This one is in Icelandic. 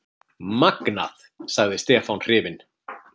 Magnað! sagði Stefán hrifinn.